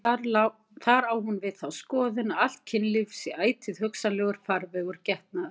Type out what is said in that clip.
Þar á hún við þá skoðun að allt kynlíf sé ætíð hugsanlegur farvegur getnaðar.